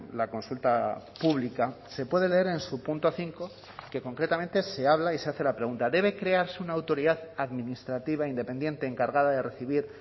la consulta pública se puede leer en su punto cinco que concretamente se habla y se hace la pregunta debe crearse una autoridad administrativa independiente encargada de recibir